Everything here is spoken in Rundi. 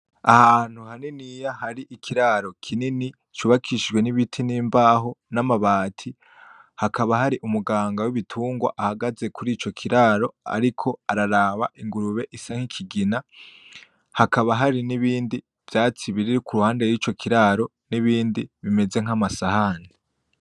Ahantu haniniya hari ikiraro kini c'ubakishijwe n'ibiti, n'imbaho, n'amabati hakaba hari umuganga w'ibitungwa ahagaze kurico kiraro ariko araraba ingurube isa nk'ikigina, hakaba hari n'ibindi vyatsi biri impande yico kiraro n'ibindi bimeze nkamasahani.